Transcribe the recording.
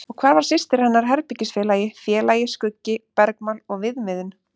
Og hvar var systir hennar, herbergisfélagi, félagi, skuggi, bergmál og viðmiðun?